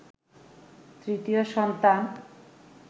৩য় সন্তান